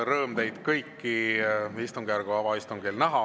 On rõõm teid kõiki istungjärgu avaistungil näha.